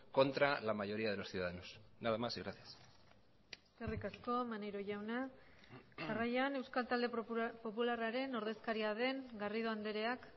contra la mayoría de los ciudadanos nada más y gracias eskerrik asko maneiro jauna jarraian euskal talde popularraren ordezkaria den garrido andreak